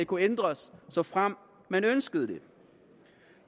kunne ændres såfremt man ønskede det